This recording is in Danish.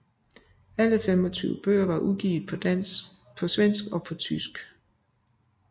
Alle 25 bøger er udgivet på svensk og tysk